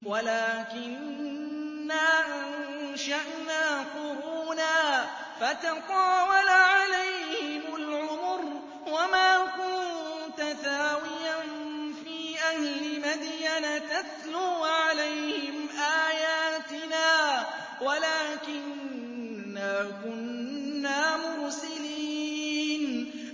وَلَٰكِنَّا أَنشَأْنَا قُرُونًا فَتَطَاوَلَ عَلَيْهِمُ الْعُمُرُ ۚ وَمَا كُنتَ ثَاوِيًا فِي أَهْلِ مَدْيَنَ تَتْلُو عَلَيْهِمْ آيَاتِنَا وَلَٰكِنَّا كُنَّا مُرْسِلِينَ